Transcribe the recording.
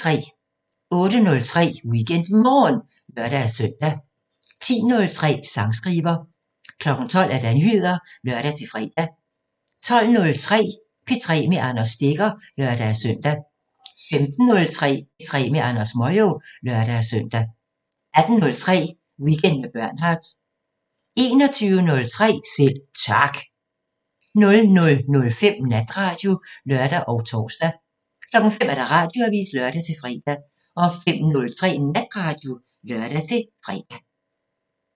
08:03: WeekendMorgen (lør-søn) 10:03: Sangskriver 12:00: Nyheder (lør-fre) 12:03: P3 med Anders Stegger (lør-søn) 15:03: P3 med Andrew Moyo (lør-søn) 18:03: Weekend med Bernhard 21:03: Selv Tak 00:05: Natradio (lør og tor) 05:00: Radioavisen (lør-fre) 05:03: Natradio (lør-fre)